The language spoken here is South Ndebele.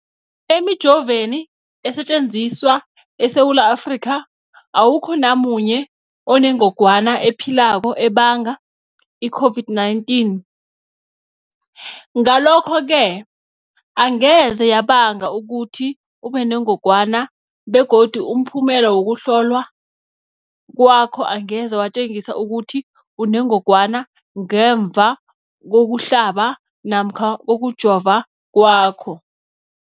Emijoveni esetjenziswa eSewula Afrika, awukho namunye onengog wana ephilako ebanga i-COVID-19. Ngalokho-ke angeze yabanga ukuthi ubenengogwana begodu umphumela wokuhlolwan kwakho angeze watjengisa ukuthi unengogwana ngemva kokuhlaba namkha kokujova kwakho.